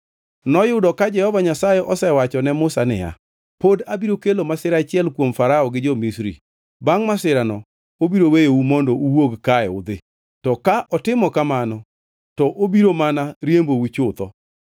Noyudo ka Jehova Nyasaye osewacho ne Musa niya, “Pod abiro kelo masira achiel kuom Farao gi jo-Misri. Bangʼ masirano, obiro weyou mondo uwuog kae udhi, to ka otimo kamano, to obiro mana riembou chutho.